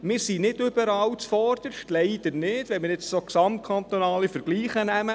Wir sind nicht überall zuvorderst – leider nicht, wenn wir gesamtkantonale Vergleiche nehmen.